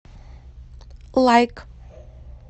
лайк